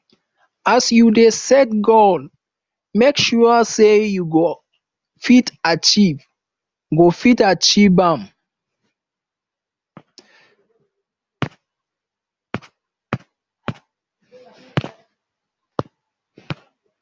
as you dey set goal make sure sey you go fit achieve go fit achieve am